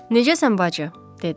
Necəsən bacı, dedi.